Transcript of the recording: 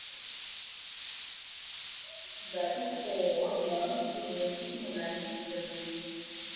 запись ооо ленинск кузнецкие коммунальные системы